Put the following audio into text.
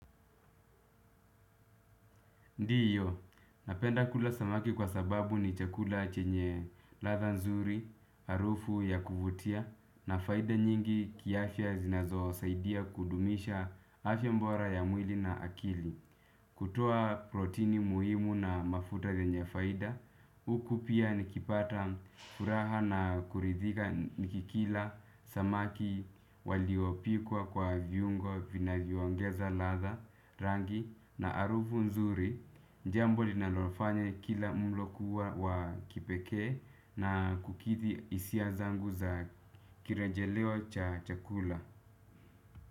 Ndiyo, napenda kula samaki kwa sababu ni chakula chenye ladha nzuri, harufu ya kuvutia na faida nyingi kiafya zinazo saidia kudumisha afya bora ya mwili na akili. Kutoa protini muhimu na mafuta yenye faida, huku pia nikipata furaha na kuridhika nikikila samaki waliopikwa kwa viungo vinavyoongeza ladha, rangi na harufu nzuri, jambo linalofanya kila mlo kuwa wa kipeke na kukidhi hisia zangu za kirejeleo cha chakula.